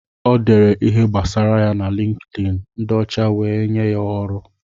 O dere ihe gbasara ya na LinkedIn, ndị ọcha wee nye ya ọrụ.